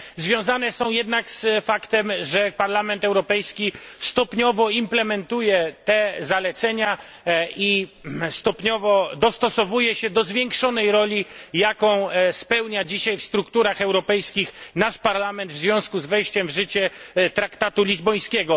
One związane są jednak z faktem, że Parlament Europejski stopniowo implementuje te zalecenia i stopniowo dostosowuje się do zwiększonej roli, jaką spełnia dzisiaj w strukturach europejskich nasz Parlament w związku z wejściem w życie traktatu lizbońskiego.